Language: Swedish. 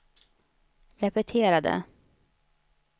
repetera det